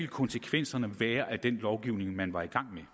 konsekvenserne af den lovgivning man var i gang med at